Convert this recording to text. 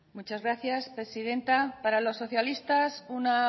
muchas gracias presidenta para los socialistas una